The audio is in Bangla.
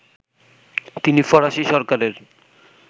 তিনি ফরাসি সরকারের